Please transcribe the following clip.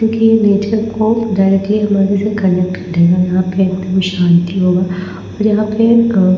क्योंकि ये नेचर को डायरेक्टली हमारे से कनेक्ट करेगा यहाँ पे एकदम शांति होगा और यहाँ पे अ--